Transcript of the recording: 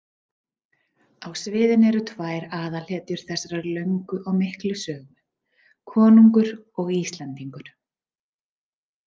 Á sviðinu eru tvær aðalhetjur þessarar löngu og miklu sögu, konungur og Íslendingur.